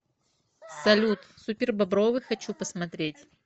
салют супербобровы хочу посмотреть